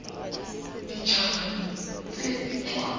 dit haba tse di tswang